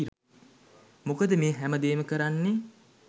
මොකද මේ හැම දේම කරන්නේ